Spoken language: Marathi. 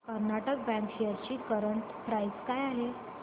कर्नाटक बँक शेअर्स ची करंट प्राइस काय आहे